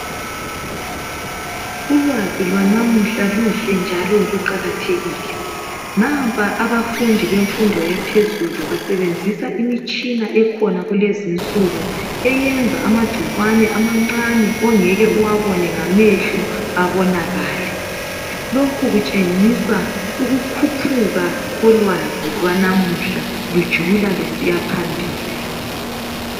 Ulwazi lwanamuhla luhle njalo luqakathekile. Nampa abafundi bemfundo yaphezulu basebenzisa imitshina ekhona kulezinsuku. Eyenza amagcikwane amancane, ongekw uwabone ngamehlo abonakale. Lokhu kutshengisa ukukhuphu kolwazi lwanamuhla lujula lusiya phambili.